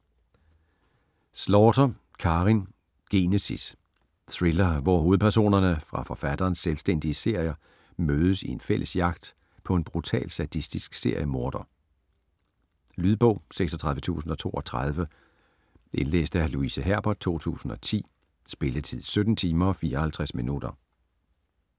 Slaughter, Karin: Genesis Thriller, hvor hovedpersonerne fra forfatterens selvstændige serier mødes i en fælles jagt på en brutal sadistisk seriemorder. Lydbog 36032 Indlæst af Louise Herbert, 2010. Spilletid: 17 timer, 54 minutter.